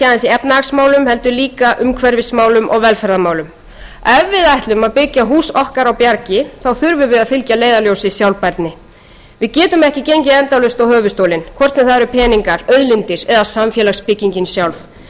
efnahagsmálum heldur líka umhverfismálum og velferðarmálum ef við ætlum að byggja hús okkar á bjargi þá þurfum við að fylgja að leiðarljósi sjálfbærni við getum ekki gengið endalaust á höfuðstólinn hvort sem það eru peningar auðlindir eða samfélagsbyggingin sjálf til að ávaxta sitt pund til